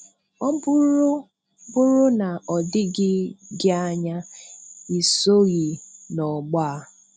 Ọ bụrụ bụrụ na o doghị gị anya, ị soghị n'ọgbọ a.